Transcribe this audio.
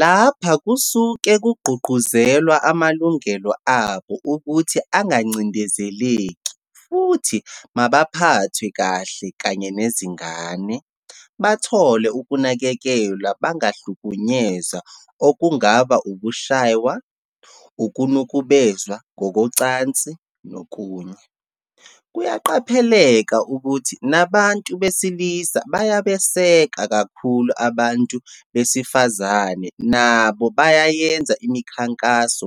Lapha kusuke kugqugquzelwa amalungelo abo ukuthi angacindezeleki, futhi mabaphathwe kahle kanye nezingane, bathole ukunakekelwa bangahlukunyezwa okungaba ukushaywa, ukunukubezwa ngokocansi nokunye. Kuyaqapheleka ukuthi nabantu besilisa bayabeseka kakhulu abantu besifazane nabo bayayenza imkhankaso